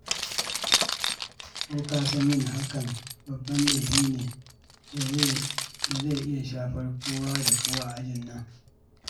Ko ka san yin hakan babban laifi ne da zai iya shafar kowa da kowa a ajin nan?